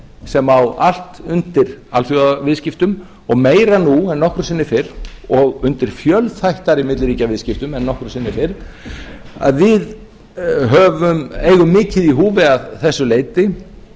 sem á allt undir alþjóðaviðskiptum og meira nú en nokkru sinni fyrr og undir fjölþættari milliríkjaviðskiptum en nokkru sinni fyrr að við eigum mikið í húfi að þessu leyti